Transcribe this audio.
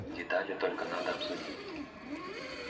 детали только надо обсудить